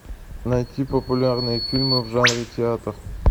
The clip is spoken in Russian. найти популярные фильмы в жанре театр